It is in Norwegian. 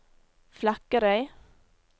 Flekkerøy